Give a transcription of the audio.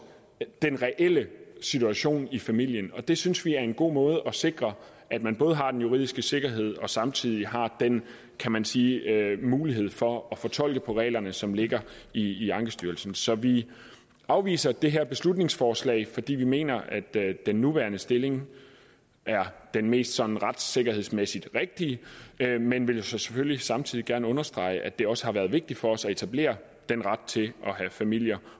den reelle situation i familien og det synes vi er en god måde at sikre at man både har den juridiske sikkerhed og samtidig har den kan man sige mulighed for at fortolke på reglerne som ligger i ankestyrelsen så vi afviser det her beslutningsforslag fordi vi mener at den nuværende stilling er den mest sådan retssikkerhedsmæssigt rigtige men vil jo så selvfølgelig samtidig gerne understrege at det også har været vigtigt for os at etablere den ret til at have familier